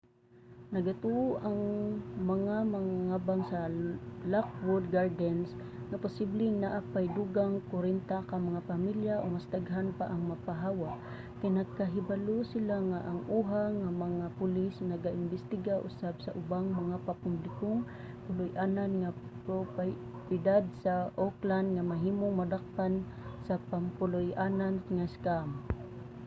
nagatuo ang mga mangangabang sa lockwood gardens nga posibleng naa pay dugang 40 ka mga pamilya o mas daghan pa ang mapahawa kay nakahibalo sila nga ang oha nga mga pulis naga-imbestiga usab sa ubang mga pampublikong puloy-anan nga propiedad sa oakland nga mahimong madakpan sa pampuloy-anan nga scam